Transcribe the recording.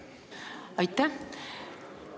Aitäh!